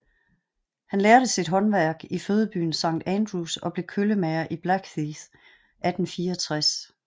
Han lærte sit håndværk i fødebyen St Andrews og blev køllemager i Blackheath i 1864